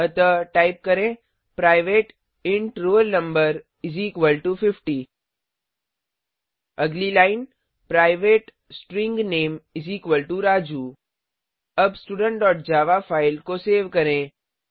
अतः टाइप करें private int roll no50 अगली line private string name Raju अब studentजावा फाइल को सेव करें